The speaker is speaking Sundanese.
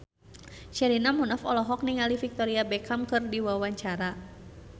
Sherina Munaf olohok ningali Victoria Beckham keur diwawancara